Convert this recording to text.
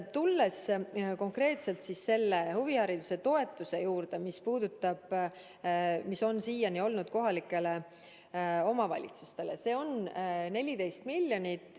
Tulles konkreetselt selle huvihariduse toetuse juurde, mida seni on kohalikele omavalitsustele antud – see on 14 miljonit eurot.